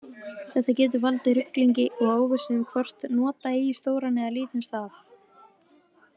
Þetta getur valdið ruglingi og óvissu um hvort nota eigi stóran eða lítinn staf.